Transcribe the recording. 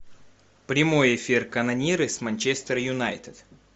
прямой эфир канониры с манчестер юнайтед